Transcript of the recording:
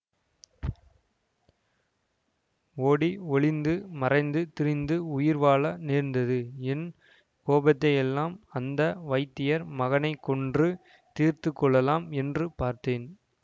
ஓடி ஒளிந்து மறைந்து திரிந்து உயிர் வாழ நேர்ந்தது என் கோபத்தையெல்லாம் அந்த வைத்தியர் மகனை கொன்று தீர்த்துக்கொள்ளலாம் என்று பார்த்தேன்